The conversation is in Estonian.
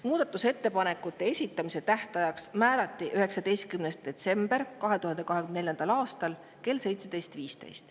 Muudatusettepanekute esitamise tähtajaks määrati 19. detsember 2024. aastal kell 17.15.